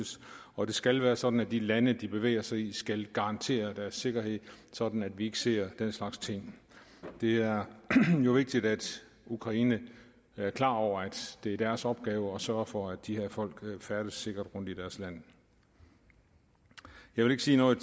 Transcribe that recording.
og det skal være sådan at de lande de bevæger sig i skal garantere deres sikkerhed sådan at vi ikke ser den slags ting det er jo vigtigt at ukraine er klar over at det er deres opgave at sørge for at de her folk kan færdes sikkert rundt i deres land jeg vil ikke sige noget